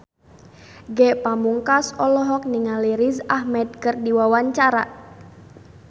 Ge Pamungkas olohok ningali Riz Ahmed keur diwawancara